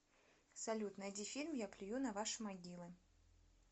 салют найди фильм я плюю на ваши могилы